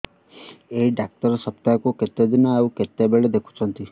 ଏଇ ଡ଼ାକ୍ତର ସପ୍ତାହକୁ କେତେଦିନ ଆଉ କେତେବେଳେ ଦେଖୁଛନ୍ତି